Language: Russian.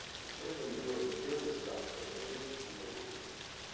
и всё это мы сделали без государства как говорил питер гриффин